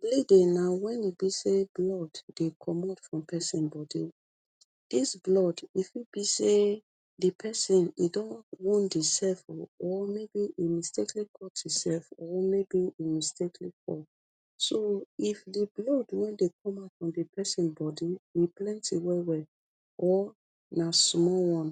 bleeding na wen e be say blood dey comot from pesin bodi dis blood we fit be say di pesin e don wound himself or maybe e mistakely ot himself or maybe mistakely fall so if di blood way dey come out from pesin bodi plenty well well or na small one